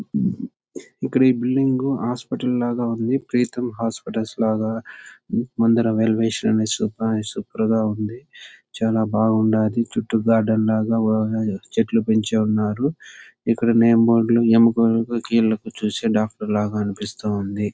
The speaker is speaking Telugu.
ఇక్కడ ఈ బిల్డింగ్ హాస్పిటల్ లాగా ఉంది. ప్రీతం హాస్పిటల్స్ లాగా ముందర వెల్ విష్ అని సూపర్ గా ఉంది.చాలా బాగున్నది చుట్టూ గార్డెన్ లాగా చెట్లు పెంచి ఉన్నారు. ఎక్కడ చూసిన వాళ్ళందరూ డాక్టర్ లాగా అనిపిస్తుంది.